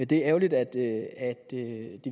det er ærgerligt at det